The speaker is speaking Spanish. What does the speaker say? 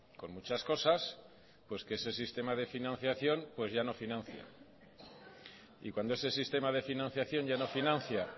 con muchas cosas pues que ese sistema de financiación pues ya no financia y cuando ese sistema de financiación ya no financia